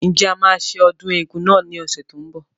Ǹjẹ́ a máa ṣe ọdún eégún náà ní ọ̀sẹ̀ tí ó ń bọ̀